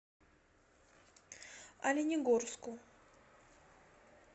оленегорску